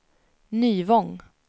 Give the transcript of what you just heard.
Nyvång